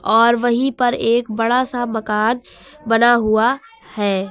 और वहीं पर एक बड़ा सा मकान बना हुआ है।